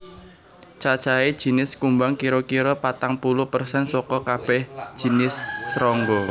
Cacahé jinis kumbang kira kira patang puluh persen saka kabèh jinis srangga